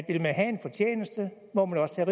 man vil have en fortjeneste må man også tage